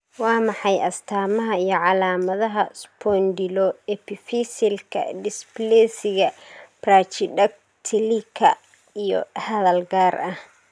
Waa maxay astamaha iyo calaamadaha Spondyloepiphysealka dysplasiga brachydactylyka iyo hadal gaar ah?